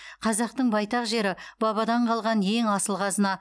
қазақтың байтақ жері бабадан қалған ең асыл қазына